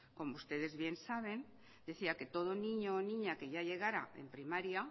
como ustedes bien saben decía que todo niño o niña que ya llegara en primaria